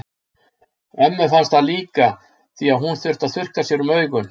Ömmu fannst það líka því að hún þurfti að þurrka sér um augun.